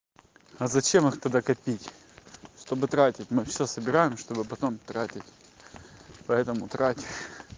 а зачем их тогда копить чтобы тратить мы всё собираем чтобы потом тратить поэтому трать